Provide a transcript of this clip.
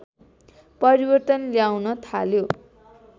परिवर्तन ल्याउन थाल्यो